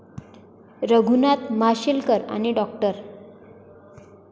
रघुनाथ माशेलकर आणि डॉ.